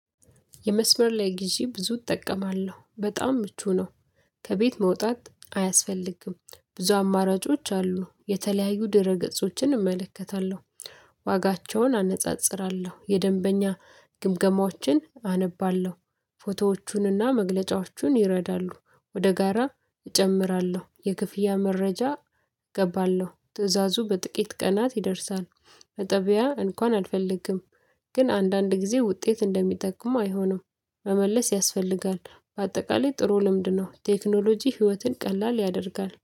የመስመር ላይ ግዢ ብዙ እጠቀማለሁ በጣም ምቹ ነው። ከቤት መውጣት አያስፈልግም ብዙ አማራጮች አሉ የተለያዩ ድረ ገጾችን እመለከታለሁ። ዋጋቸውን አነጻጽራለሁ የደንበኛ ግምገማዎችን አነባለሁ። ፎቶዎቹን እና መግለጫዎቹን ይረዳሉ። ወደ ጋራ እጨምራለሁ የክፍያ መረጃ እገባለሁ። ትእዛዙ በጥቂት ቀናት ይደርሳል። በጠቢያ እንኳን አልፈልግም። ግን አንዳንድ ጊዜ ውጤት እንደሚጠቅሙ አይሆንም። መመለስ ያስፈልጋል። በአጠቃላይ ጥሩ ልምድ ነው። ቴክኖሎጂ ህይወትን ቀላል ያደርጋል